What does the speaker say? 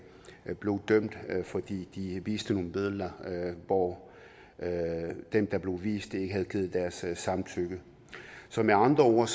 blev dømt fordi de viste nogle billeder hvor dem der blev vist ikke havde givet deres samtykke så med andre ord